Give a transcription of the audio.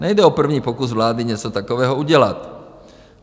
Nejde o první pokus vlády něco takového udělat.